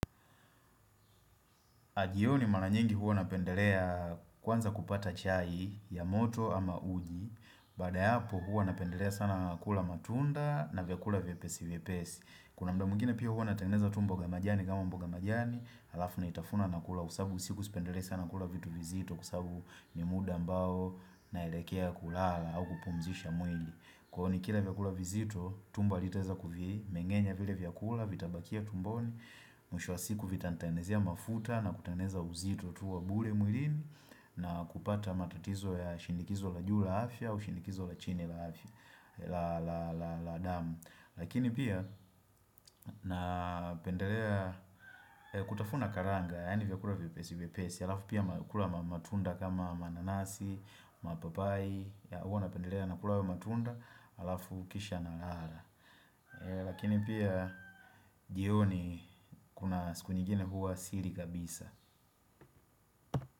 Jioni maranyingi huwa napendelea kwanza kupata chai ya moto ama uji, baada ya hapo huwa napendelea sana kula matunda na vyakula vyepesi vyepesi. Kuna mda mwingine pia huwa natengeneza tumbo ga ya majani kama mboga ya majani, alafu na itafuna na kula kwa sababu usiku sipendelei sana kula vitu vizito kwa sababu ni muda ambao naelekea kulala au kupumzisha mwili. Kuhoni kila vyakula vizito, tumbo alitaeza kuvi, mengenya vile vyakula, vitabakia tumboni, mwisho wa siku vitanitengenezia mafuta na kutengeneza uzito tu wa bure mwilini na kupata matatizo ya shindikizo la juu la afya au shindikizo la chini la damu. Lakini pia na pendelea kutafuna karanga Yaani vya kula vipesi vipesi Alafu pia kula matunda kama mananasi, mapapai Huwa na pendelea na kula matunda Alafu kisha nalala Lakini pia jioni kuna siku nyingine huwa sili kabisa.